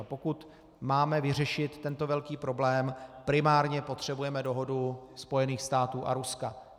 A pokud máme vyřešit tento velký problém, primárně potřebujeme dohodu Spojených států a Ruska.